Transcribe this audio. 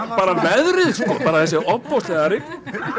bara veðrið sko bara þessi ofboðslega rigning